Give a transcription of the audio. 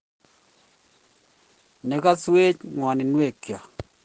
Ne kaswech ng'woninwekyok.